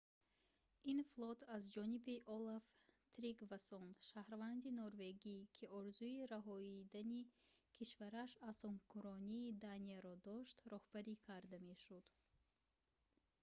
ин флот аз ҷониби олаф тригвассон шаҳрванди норвегӣ ки орзуи раҳоидани кишвараш аз ҳукмронии данияро дошт роҳбарӣ карда мешуд